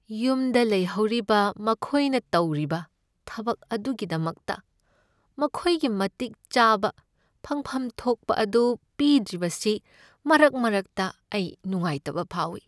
ꯌꯨꯝꯗ ꯂꯩꯍꯧꯔꯤꯕ ꯃꯈꯣꯏꯅ ꯇꯧꯔꯤꯕ ꯊꯕꯛ ꯑꯗꯨꯒꯤꯗꯃꯛꯇ ꯃꯈꯣꯏꯒꯤ ꯃꯇꯤꯛ ꯆꯥꯕ ꯐꯪꯐꯝ ꯊꯣꯛꯄ ꯑꯗꯨ ꯄꯤꯗ꯭ꯔꯤꯕꯁꯤ ꯃꯔꯛ ꯃꯔꯛꯇ ꯑꯩ ꯅꯨꯡꯉꯥꯏꯇꯕ ꯐꯥꯎꯏ꯫